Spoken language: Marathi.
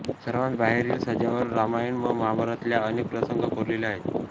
सर्वांत बाहेरील सज्जावर रामायण व महाभारतातल्या अनेक प्रसंग कोरलेले आहेत